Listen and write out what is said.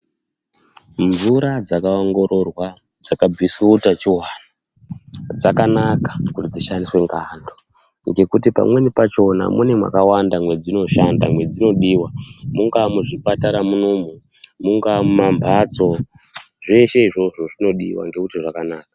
Mvura dzakaongororwa dzakabviswa utachivana dzakanaka kuti dzishandiswe ngeantu. Ngekuti pamweni pachona mune makawanda mwedzinoshanda mwedzinodiva, mungaa muzvipatara munoumu, mungaa mumamhatso zveshe izvozvo zvinodiva ngekuti zvakanaka.